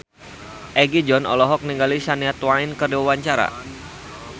Egi John olohok ningali Shania Twain keur diwawancara